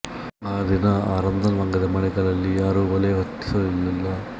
ಆ ದಿನ ಅರಂಧನ್ ವಂಗದ ಮನೆಗಳಲ್ಲಿ ಯಾರೂ ಒಲೆ ಹೊತ್ತಿಸಲಿಲ್ಲ